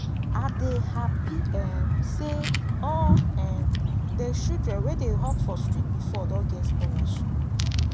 i dey happy um say all um the children wey dey hawk for street before don get scholarship